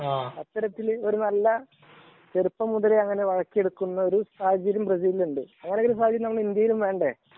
അത്തരത്തില് ഒരു നല്ല അങ്ങനെ ചെറുപ്പം മുതലേ ആക്കി എടുക്കുന്ന ഒരു സാഹചര്യം ബ്രസീലിനുണ്ട്. അങ്ങനെ ഒരു സാഹചര്യം ഇന്ത്യയിലും വേണ്ടേ